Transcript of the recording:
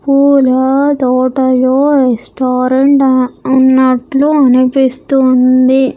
పూల తోటలో రెస్టారెంట్ అన్నట్లు అనిపిస్తుంది.